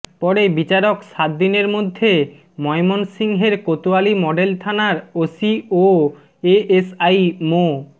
পরে বিচারক সাতদিনের মধ্যে ময়মনসিংহের কোতোয়ালি মডেল থানার ওসি ও এএসআই মো